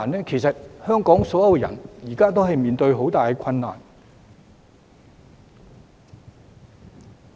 其實，現時所有香港人也正面對着很大困難。